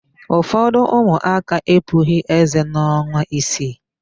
Ụfọdụ ụmụaka epughị ézé n'ọnwa isii.